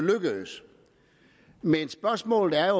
lykkes men spørgsmålet er